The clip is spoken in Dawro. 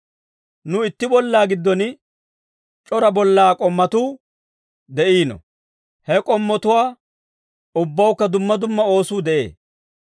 Nu itti bollaa giddon, c'ora bollaa k'ommotuu de'iino; he k'ommotuwaa ubbawukka dumma dumma oosuu de'ee.